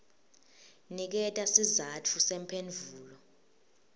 niketa sizatfu semphendvulo